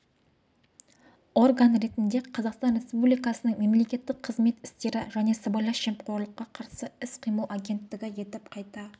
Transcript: орган ретінде қазақстан республикасының мемлекеттік қызмет істері және сыбайлас жемқорлыққа қарсы іс-қимыл агенттігі етіп қайта